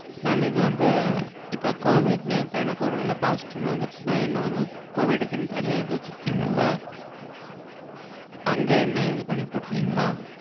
mam இது வந்து இப்போ covid ல எனக்கு ஒருவேள positive னு வந்திருச்சுனா என்ன வந்து covid குன்னு தனியா இது வச்சிருக்கீங்கள்ல. அங்க என்ன இது பண்ணி போட்ருவீங்களா?